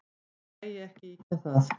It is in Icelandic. Þó megi ekki ýkja það.